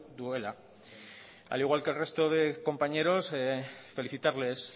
duela al igual que el resto de compañeros felicitarles